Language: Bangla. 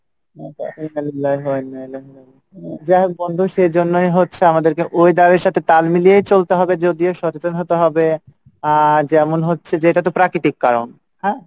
যাই হোক বন্ধু সেইজন্যই হচ্ছে আমাদেরকে weather এর সাথে তাল মিলিয়ে চলতে হবে যদিও সচেতন হতে হবে, আহ যেমন হচ্ছে যে এটা তো প্রাকৃতিক কারন হ্যাঁ,